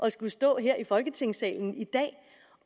at skulle stå her i folketingssalen i dag